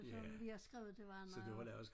Som vi har skrevet det var noget